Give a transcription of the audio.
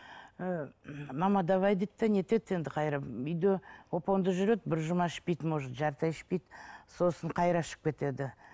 ы мама давай дейді де не етеді де енді үйде оп оңды жүреді бір жұма ішпейді может жарты ай ішпейді сосын ішіп кетеді